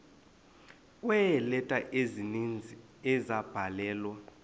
kweeleta ezininzi ezabhalelwa